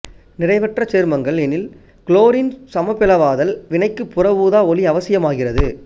நிறைவுற்ற சேர்மங்கள் எனில் குளோரினின் சமபிளவாதல் வினைக்கு புற ஊதா ஓளி அவசியமாகிறது